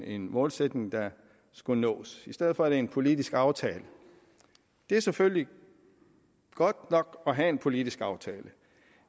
en målsætning der skulle nås i stedet for er det en politisk aftale det er selvfølgelig godt nok at have en politisk aftale